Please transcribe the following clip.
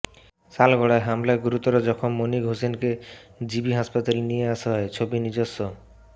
শালগড়ায় হামলায় গুরুতর জখম মনির হুসনেক জিবি হাসাপাতালে নিয়ে আসা হয় ছবি নিজস্ব